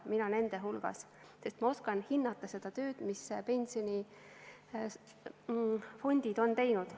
Mina nende hulgas, sest ma oskan hinnata seda tööd, mis pensionifondid on teinud.